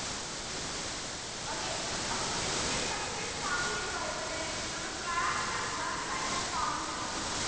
okay അപ്പൊ primitive substenance farming എന്ന് പറയുന്നതിനെ നമ്മൾ slash and burn type of farming എന്ന് പറയും